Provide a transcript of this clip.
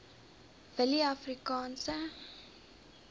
willieafrikaanse